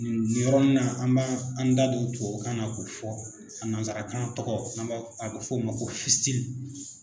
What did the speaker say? Nin yɔrɔnin na an b'an da don tubabukan na k'o fɔ a nansarakan tɔgɔ a bɛ fɔ o ma ko